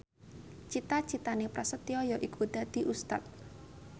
cita citane Prasetyo yaiku dadi Ustad